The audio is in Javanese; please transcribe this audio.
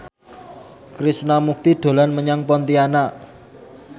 Krishna Mukti dolan menyang Pontianak